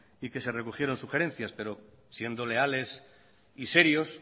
y que se recogieron sugerencias pero siendo leales y serios